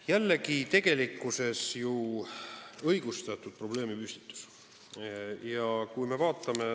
Jällegi õigustatud probleemipüstitus.